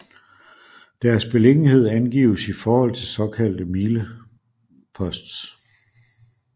Deres beliggenhed angives i forhold til såkaldte mileposts